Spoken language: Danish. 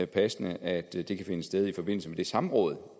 passende at det kan finde sted i forbindelse med det samråd